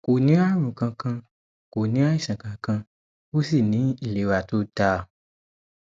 kò ní àrùn kankan kò ní àìsàn kankan ó sì ní ìlera tó dáa